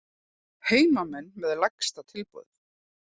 Heimamenn með lægsta tilboð